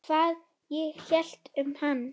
Hvað ég hélt um hann?